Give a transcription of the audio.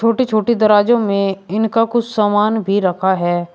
छोटी छोटी दरवाजों में इनका कुछ सामान भी रखा है।